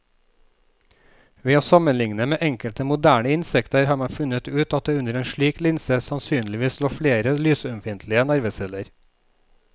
Ved å sammenligne med enkelte moderne insekter har man funnet ut at det under en slik linse sannsynligvis lå flere lysømfintlige nerveceller.